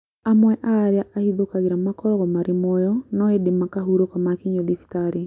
Amwe a arĩa ahithũkagĩra makoragwo marĩ mũoyo no ĩndĩ makahurũka makinyio thibitarĩ